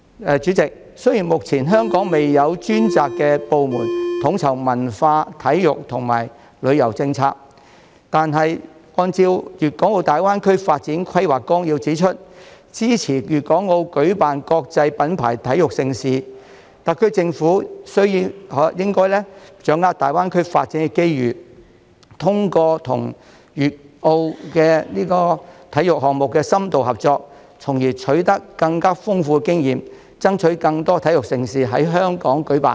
代理主席，雖然香港目前未有專責部門統籌文化、體育和旅遊政策，但鑒於《粵港澳大灣區發展規劃綱要》指出支持粵港澳舉辦國際品牌體育盛事，特區政府應該把握大灣區發展的機遇，通過與粵澳深度合作舉辦體育項目，從而取得更豐富經驗，爭取更多體育盛事在香港舉辦。